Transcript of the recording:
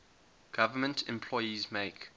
government employees make